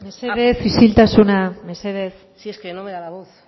mesedez isiltasuna mesedez si es que no me da la voz